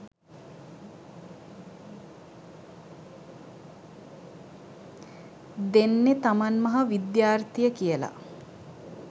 දෙන්නෙ තමන් මහ විද්‍යාර්ථිය කියල